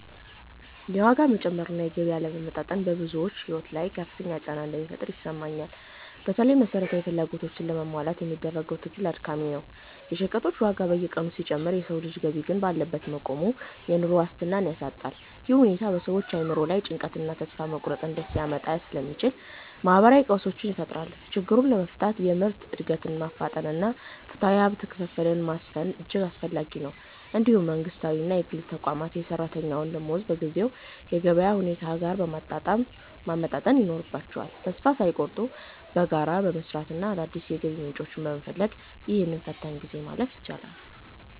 የዋጋ መጨመር እና የገቢ አለመመጣጠን በብዙዎች ሕይወት ላይ ከፍተኛ ጫና እንደሚፈጥር ይሰማኛል። በተለይም መሠረታዊ ፍላጎቶችን ለማሟላት የሚደረገው ትግል አድካሚ ነው። የሸቀጦች ዋጋ በየቀኑ ሲጨምር የሰው ልጅ ገቢ ግን ባለበት መቆሙ፣ የኑሮ ዋስትናን ያሳጣል። ይህ ሁኔታ በሰዎች አእምሮ ላይ ጭንቀትንና ተስፋ መቁረጥን ሊያመጣ ስለሚችል፣ ማኅበራዊ ቀውሶችን ይፈጥራል። ችግሩን ለመፍታት የምርት ዕድገትን ማፋጠንና ፍትሐዊ የሀብት ክፍፍልን ማስፈን እጅግ አስፈላጊ ነው። እንዲሁም መንግሥታዊና የግል ተቋማት የሠራተኛውን ደመወዝ በጊዜው የገበያ ሁኔታ ጋር ማመጣጠን ይኖርባቸዋል። ተስፋ ሳይቆርጡ በጋራ በመሥራትና አዳዲስ የገቢ ምንጮችን በመፈለግ፣ ይህንን ፈታኝ ጊዜ ማለፍ ይቻላል።